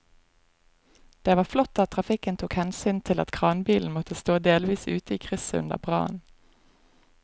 Det var flott at trafikken tok hensyn til at kranbilen måtte stå delvis ute i krysset under brannen.